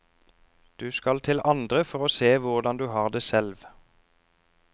Du skal til andre for å se hvordan du har det selv.